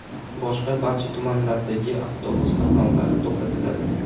Boshqa barcha tumanlardagi avtobus qatnovlari to‘xtatiladi.